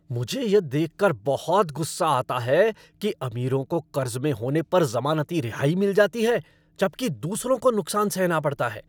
मुझे यह देखकर बहुत गुस्सा आता है कि अमीरों को कर्ज में होने पर ज़मानती रिहाई मिल जाती है जबकि दूसरों को नुकसान सहना पड़ता है।